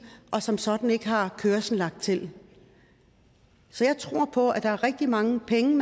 og som sådan ikke har kørsel lagt til så jeg tror på at man rigtig mange penge